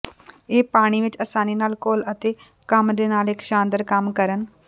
ਇਹ ਪਾਣੀ ਵਿੱਚ ਆਸਾਨੀ ਨਾਲ ਘੁਲ ਅਤੇ ਕੰਮ ਦੇ ਨਾਲ ਇੱਕ ਸ਼ਾਨਦਾਰ ਕੰਮ ਕਰਨ